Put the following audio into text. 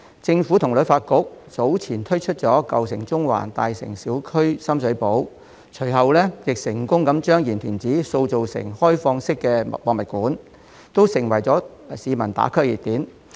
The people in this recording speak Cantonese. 政府和旅發局早前推出"舊城中環"，"香港.大城小區—深水埗"項目，隨後亦成功把鹽田梓塑造成開放式的博物館，這些均成為市民"打卡"的熱點。